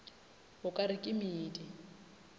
o ka re ke medi